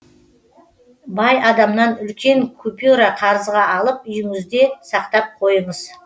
бай адамнан үлкен купюра қарызға алып үйіңізде сақтап қойыңыз